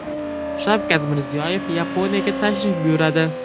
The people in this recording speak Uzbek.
Shavkat Mirziyoyev Yaponiyaga tashrif buyuradi.